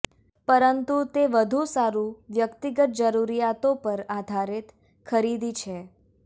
પરંતુ તે વધુ સારું વ્યક્તિગત જરૂરિયાતો પર આધારિત ખરીદી છે